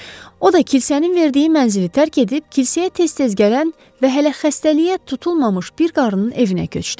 O da kilsənin verdiyi mənzili tərk edib, kilsəyə tez-tez gələn və hələ xəstəliyə tutulmamış bir qarının evinə köçdü.